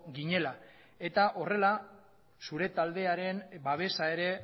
ginela eta horrela zure taldearen babesa ere